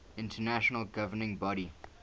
international governing body